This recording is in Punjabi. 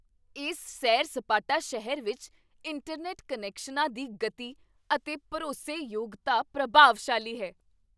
ਇਸ ਸੈਰ ਸਪਾਟਾ ਸ਼ਹਿਰ ਵਿੱਚ ਇੰਟਰਨੈੱਟ ਕਨੈਕਸ਼ਨਾਂ ਦੀ ਗਤੀ ਅਤੇ ਭਰੋਸੇਯੋਗਤਾ ਪ੍ਰਭਾਵਸ਼ਾਲੀ ਹੈ